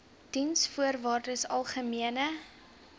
diensvoorwaardesalgemene